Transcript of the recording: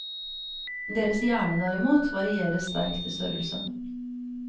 Deres hjerne, derimot, varierer sterkt i størrelse.